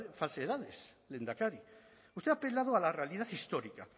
falsedades lehendakari usted ha apelado a la realidad histórica